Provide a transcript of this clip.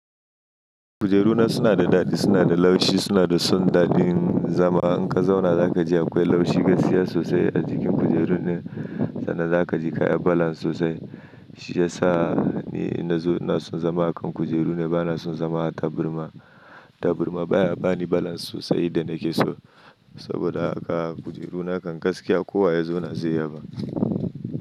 Kujeru na suna da daɗi, suna da laushi, suna da sun daɗin zama. In ka zauna za ka ji akwai laushi gaskiya sosai a jikin kujeru na. Sannan za ka ji kayi balance sosai. Shi ya sa ni inna zo na so zama a kan kujeru ne, ba na son zama a tabarma. Taburma baya bani balance sosai idan nake so. Saboda haka kujeru nakan gaskiya kowa ya zauna zai yaba.